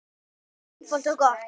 Einfalt og gott.